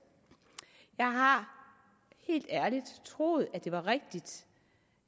jeg har helt ærligt troet at det var rigtigt